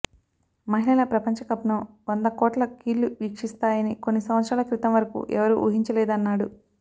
మహిళల ప్రపంచకప్ను వంద కోట్ల కళ్లు వీక్షిస్తాయని కొన్ని సంవత్సరాల క్రితం వరకు ఎవరూ ఊహించలేదన్నాడు